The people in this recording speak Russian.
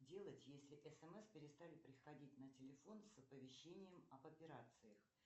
делать если смс перестали приходить на телефон с оповещением об операциях